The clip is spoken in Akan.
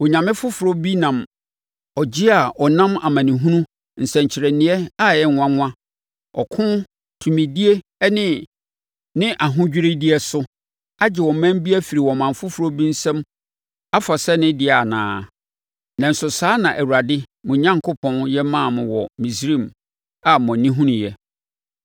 Onyame foforɔ bi nam ɔgye a ɔnam amanehunu, nsɛnkyerɛnneɛ a ɛyɛ nwanwa, ɔko, tumidie ne ahodwiredeɛ so agye ɔman bi afiri ɔman foforɔ bi nsam afa sɛ ne dea anaa? Nanso, saa na Awurade, mo Onyankopɔn, yɛ maa mo wɔ Misraim a mo ani hunuiɛ.